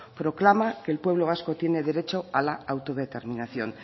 proclama que el pueblo vasco tiene derecho a la autodeterminación